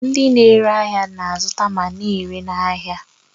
Ndị na-ere ahịa na-azụta ma na-ere n'ahịa